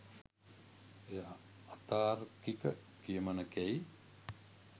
එය අතාර්කික කියමනකැයි